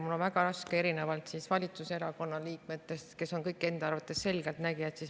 Mul on väga raske, erinevalt valitsuserakonna liikmetest, kes on kõik enda arvates selgeltnägijad.